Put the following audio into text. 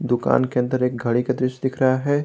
दुकान के अंदर एक घड़ी का दृश्य दिख रहा है।